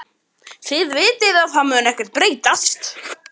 Þið vitið að það mun ekkert breytast.